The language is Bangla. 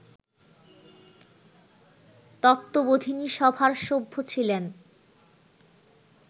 তত্ত্ববোধিনী সভার সভ্য ছিলেন